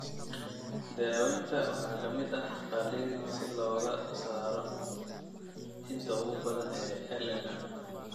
Daaweynta waxaa ka mid ah qalliin si looga saaro inta ugu badan ee LMM.